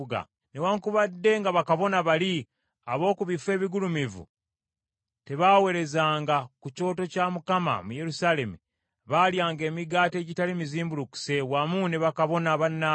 Newaakubadde nga bakabona bali ab’oku bifo ebigulumivu tebaweerezanga ku kyoto kya Mukama mu Yerusaalemi, balyanga emigaati egitali mizimbulukuse wamu ne bakabona bannaabwe.